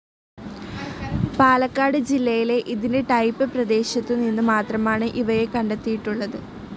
പാലക്കാട് ജില്ലയിലെ ഇതിൻ്റെ ടൈപ്പ്‌ പ്രദേശത്തുനിന്ന് മാത്രമാണ് ഇവയെ കണ്ടെത്തിയിട്ടുള്ളത്.